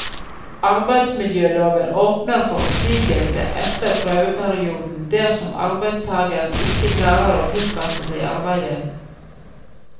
Arbeidsmiljøloven åpner for oppsigelse etter prøveperioden dersom arbeidstageren ikke klarer å tilpasse seg arbeidet.